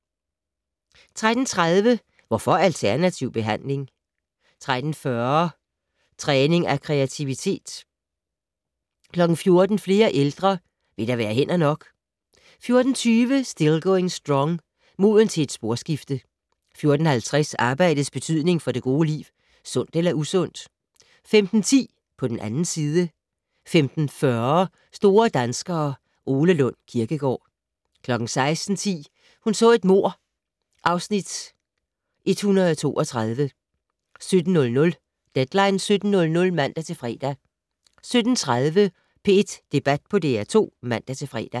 13:30: Hvorfor alternativ behandling? 13:40: Træning af kreativitet 14:00: Flere ældre - vil der være hænder nok? 14:20: Still Going Strong - Moden til et sporskifte 14:50: Arbejdets betydning for det gode liv - sundt eller usundt? 15:10: På den 2. side 15:40: Store danskere - Ole Lund Kirkegaard 16:10: Hun så et mord (Afs. 132) 17:00: Deadline 17.00 (man-fre) 17:30: P1 Debat på DR2 (man-fre)